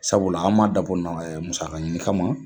Sabula an man dabo musaka ɲini kama.